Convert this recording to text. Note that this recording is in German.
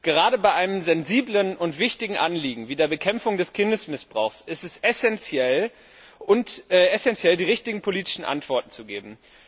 Gerade bei einem sensiblen und wichtigen Anliegen wie der Bekämpfung des Kindesmissbrauchs ist es essenziell, die richtigen politischen Antworten zu geben.